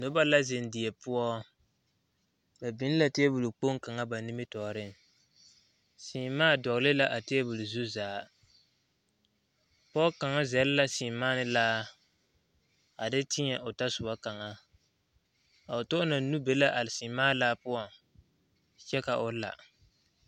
Noba la zeŋ die poɔ ba biŋ la tebol kpoŋ kaŋa ba nimitɔɔreŋ seemaa dogle la a tebol zu zaa pɔge kaŋ zɛle la seemaa ne laa a de tēɛ o tɔ soba kaŋa o tɔ na nu be la a seemaa laa poɔŋ kyɛ ka o la.